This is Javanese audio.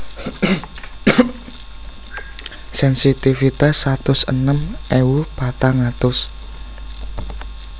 Sensitivitas satus enem ewu patang atus